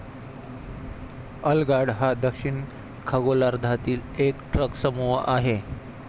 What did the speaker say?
अलंगार्ड हा दक्षिण खगोलार्धांतील एक ट्रकसमूह आहे.